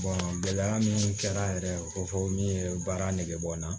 gɛlɛya min kɛra yɛrɛ ko fɔ n ye baara nege bɔ n na